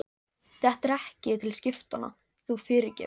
Þetta er ekki til skiptanna, þú fyrirgefur.